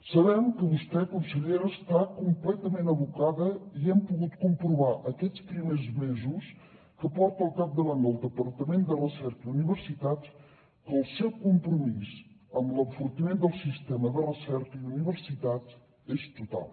sabem que vostè consellera està completament abocada i hem pogut comprovar aquests primers mesos que porta al capdavant del departament de recerca i universitats que el seu compromís amb l’enfortiment del sistema de recerca i universitats és total